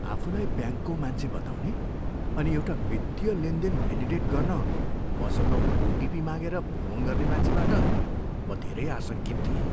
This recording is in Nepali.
आफूलाई ब्याङ्कको मान्छे बताउने अनि एउटा वित्तीय लेनदेन भेलिडेट गर्न मसँग ओटिपी मागेर फोन गर्ने मान्छेबाट म धेरै आशङ्कित थिएँ।